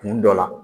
Kun dɔ la